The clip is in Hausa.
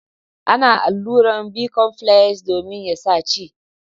Ana alluran bicomfles domin ya sa ci.